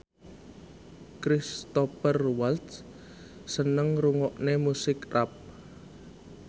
Cristhoper Waltz seneng ngrungokne musik rap